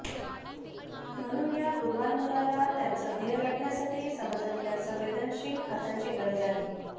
म्हणून या गुणवान मुलाला त्याचं ध्येय गाठण्यासाठी समाजातल्या संवेदनशील हातांची गरज आहे